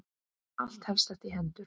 Allt helst þetta í hendur.